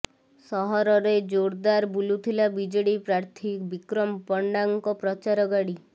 ସହରରେ େଜାରଦାର ବୁଲୁଥିଲା ବିଜେଡି ପ୍ରାର୍ଥୀ ବିକ୍ରମ ପଣ୍ଡାଙ୍କ ପ୍ରଚାର ଗାଡି